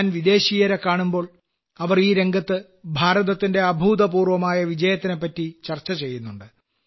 ഞാൻ വിദേശിയരെക്കാണുമ്പോൾ അവർ ഈ രംഗത്ത് ഭാരതത്തിന്റെ അഭൂതപൂർവ്വമായ വിജയത്തിനെപ്പറ്റി ചർച്ച ചെയ്യുന്നുണ്ട്